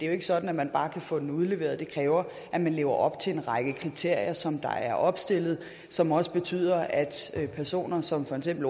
jo ikke sådan at man bare kan få den udleveret det kræver at man lever op til en række kriterier som der er opstillet og som også betyder at personer som for eksempel